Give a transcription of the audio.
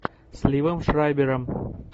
с ливом шрайбером